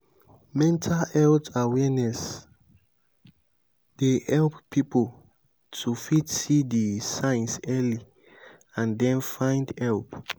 mental health awareness dey help pipo to fit see di signs early and then find help